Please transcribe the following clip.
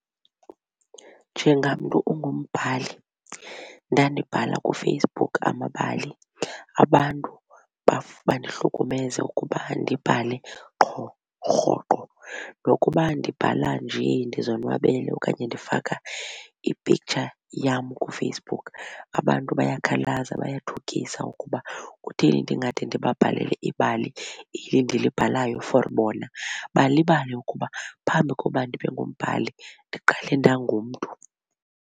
Njengamntu ungumbhali ndandibhala kuFacebook amabali abantu bandihlukumeze ukuba ndibhale qho rhoqo nokuba ndibhala nje ndizonwabele okanye ndifaka i-picture yam kuFacebook abantu bayakhalaza bayathukisa ukuba kutheni ndingade ndibabhalele ibali eli ndilibhalayo for bona balibale ukuba phambi koba ndibe ngumbhali ndiqale ndangumntu.